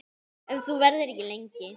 Ef þú verður ekki lengi.